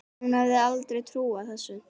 Hún hefði aldrei trúað þessu.